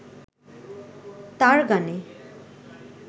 তাঁর গানে